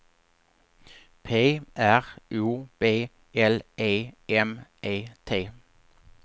P R O B L E M E T